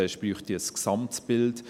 zuerst brauche es ein Gesamtbild.